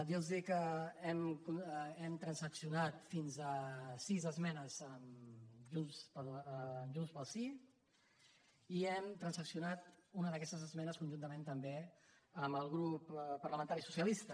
dir los que hem transaccionat fins a sis esmenes amb junts pel sí i hem transaccionat una d’aquestes esmenes conjuntament també amb el grup parlamentari socialista